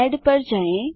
add पर जाएँ